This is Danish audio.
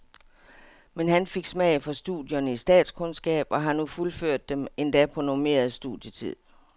Men han fik smag for studierne i statskundskab og har nu fuldført dem, endda på normeret studietid.